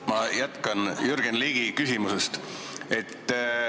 Ma jätkan Jürgen Ligi küsimust.